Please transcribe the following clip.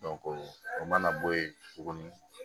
o mana bɔ yen tuguni